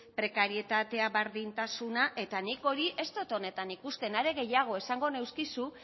prekarietatea bardintasuna eta nik hori ez dot honetan ikusten are gehiago esango nizkizu